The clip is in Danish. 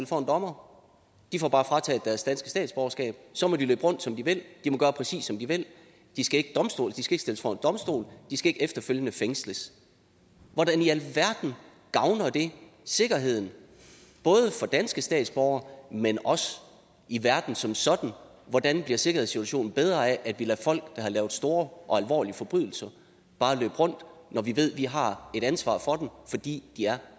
for en dommer de får bare frataget deres danske statsborgerskab og så må de løbe rundt som de vil de må gøre præcis som de vil de skal ikke stilles for en domstol de skal ikke efterfølgende fængsles hvordan i alverden gavner det sikkerheden både for danske statsborgere men også i verden som sådan hvordan bliver sikkerhedssituationen bedre af at vi bare lader folk der har lavet store og alvorlige forbrydelser løbe rundt når vi ved at vi har et ansvar for dem fordi de er